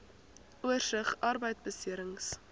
oorsig arbeidbeserings